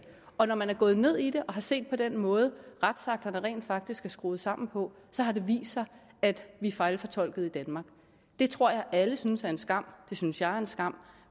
og når man er gået ned i det her og har set på den måde retsakterne rent faktisk er skruet sammen på så har det vist sig at vi fejlfortolkede i danmark det tror jeg at alle synes er en skam det synes jeg er en skam